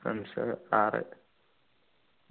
friends ആറു